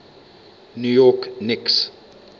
new york knicks